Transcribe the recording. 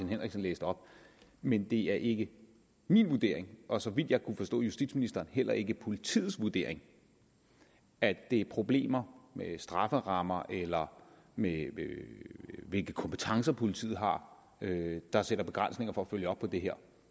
henriksen læste op men det er ikke min vurdering og så vidt jeg kunne forstå justitsministeren heller ikke politiets vurdering at det er problemer med strafferammer eller med hvilke kompetencer politiet har der sætter begrænsninger for at følge op på det her